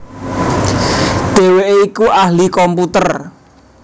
Dhèwèké iku ahli komputer